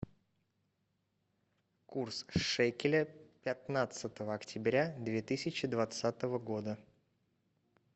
курс шекеля пятнадцатого октября две тысячи двадцатого года